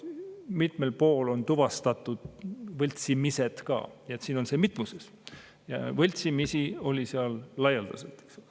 Mitmel pool on tuvastatud võltsimised, nii et see on mitmuses, võltsimisi oli seal laialdaselt.